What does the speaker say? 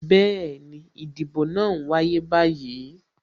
Bẹẹni, ìdìbò náà n wáyé báyìí